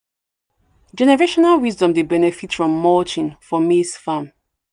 generational wisdom dey benefit from mulching for maize farm."